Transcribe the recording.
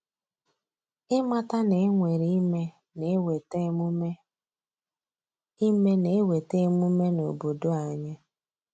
Ịmata na e nwere ime na-eweta emume ime na-eweta emume n’obodo anyị.